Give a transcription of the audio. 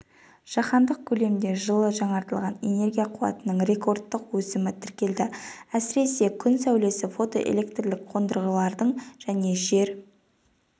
жаһандық көлемде жылы жаңартылатын энергия қуатының рекордтық өсімі тіркелді әсіресе күн сәулесі фотоэлектрлік қондырғылардың және жер